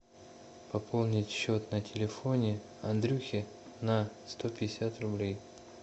пополнить счет на телефоне андрюхе на сто пятьдесят рублей